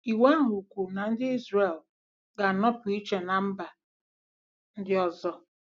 Iwu ahụ kwuru na ndị Izrel ga-anọpụ iche ná mba ndị ọzọ.